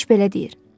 Keşiş belə deyir.